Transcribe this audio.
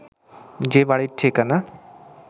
যে বাড়ির ঠিকানা